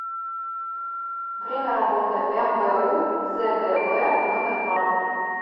время работы мбу цгб номер два